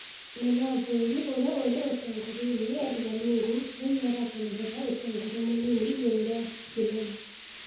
Mũnene wa bũrũrĩ urtia uri ũtongoria-inĩ Edgar Lungu, kwa riu niarakenerera ũtongoria mũnini igutru ria Hichilema